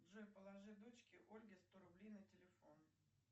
джой положи дочке ольге сто рублей на телефон